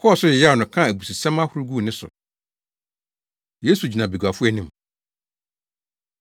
Wɔkɔɔ so yeyaw no kaa abususɛm ahorow guu ne so. Yesu Gyina Baguafo Anim